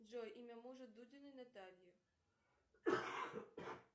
джой имя мужа дудиной натальи